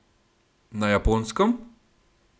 Na Japonskem?